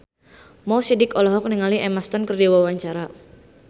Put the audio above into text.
Mo Sidik olohok ningali Emma Stone keur diwawancara